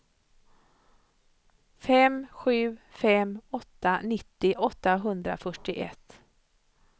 fem sju fem åtta nittio åttahundrafyrtioett